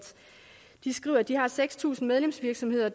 de skriver at de har seks tusind medlemsvirksomheder